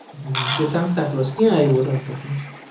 હમ કે santa claus કયા અવ્યો santa claus